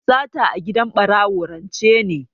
Sata a gidan ɓarawo rance ne.